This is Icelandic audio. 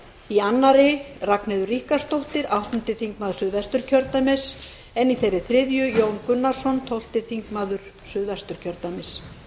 í annarri ragnheiður ríkharðsdóttir áttundi þingmaður suðvesturkjördæmis en í þeirri þriðju jón gunnarsson tólfti þingmaður suðvesturkjördæmis